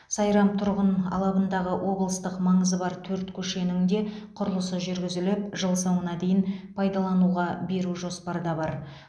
сайрам тұрғын алабындағы облыстық маңызы бар төрт көшенің де құрылысы жүргізіліп жыл соңына дейін пайдалануға беру жоспарда бар